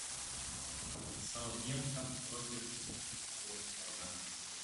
саутгемптон против уотфорда